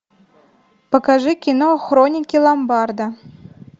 покажи кино хроники ломбарда